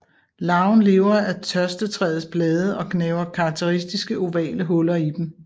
Larven lever af tørstetræets blade og gnaver karakteristiske ovale huller i dem